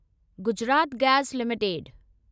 Gujarat Gas limited